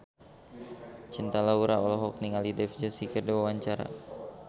Cinta Laura olohok ningali Dev Joshi keur diwawancara